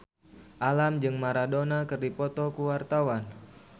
Alam jeung Maradona keur dipoto ku wartawan